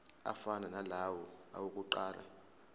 afana nalawo awokuqala